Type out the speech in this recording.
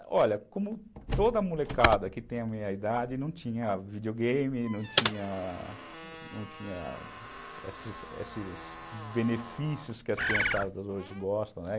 Bem, olha, como toda molecada que tem a meia-idade não tinha videogame, não tinha esses esses benefícios que as crianças hoje gostam, né?